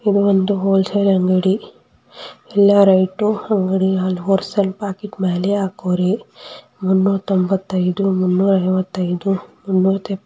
ಇದು ಒಂದು ಹೋಲ್ಸೇಲ್ ಅಂಗಡಿ ಎಲ್ಲ ರೇಟು ಅಹ್ ಹೋಲ್ಸೇಲ್ ಪ್ಯಾಕೆಟ್ ಮೇಲೆ ಹಾಕೋವಾರೆ ಮುನ್ನೂರ್ ತೊಂಬತ್ತಯ್ದು ಮುನ್ನೂರ್ ಐವತೈದು __